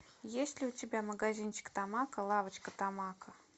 есть ли у тебя магазинчик тамако лавочка тамако